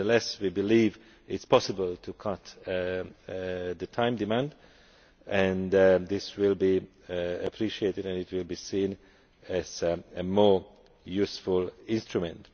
Nevertheless, we believe it is possible to cut the time demand and this will be appreciated and it will be seen as more useful instrument.